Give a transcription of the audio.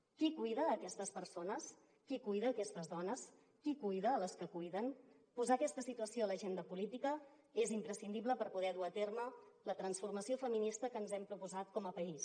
qui cuida aquestes persones qui cuida aquestes dones qui cuida les que cuiden posar aquesta situació a l’agenda política és imprescindible per poder dur a terme la transformació feminista que ens hem proposat com a país